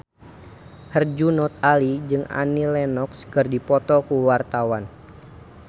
Herjunot Ali jeung Annie Lenox keur dipoto ku wartawan